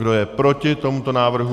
Kdo je proti tomuto návrhu?